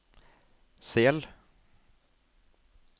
Sel